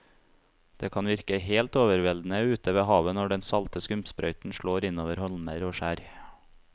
Det kan virke helt overveldende ute ved havet når den salte skumsprøyten slår innover holmer og skjær.